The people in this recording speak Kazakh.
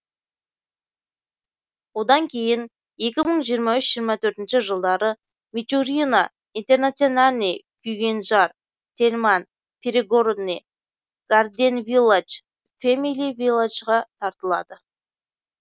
одан кейін екі мың жиырма үш жиырма төртінші жылдары мичурино интернациональный күйгенжар тельман перегородный гарден вилладж фэмили вилладжға тартылады